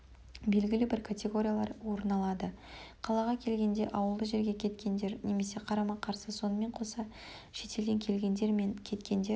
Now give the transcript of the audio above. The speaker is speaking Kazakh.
белгілі бір категориялар орын алады қалаға келгенде ауылды жерге кеткендер немесе қарама-қарсы сонымен қоса шетелден келгендер мен кеткендер